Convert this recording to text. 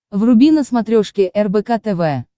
вруби на смотрешке рбк тв